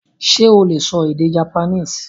Sé o lè sọ èdè Japanese?